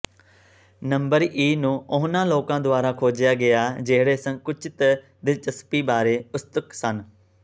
number e ਨੂੰ ਉਹਨਾਂ ਲੋਕਾਂ ਦੁਆਰਾ ਖੋਜਿਆ ਗਿਆ ਜਿਹੜੇ ਸੰਕੁਚਿਤ ਦਿਲਚਸਪੀ ਬਾਰੇ ਉਤਸੁਕ ਸਨ